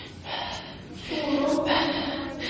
fordon